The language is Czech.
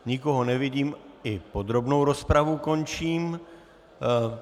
Nikoho nevidím, i podrobnou rozpravu končím.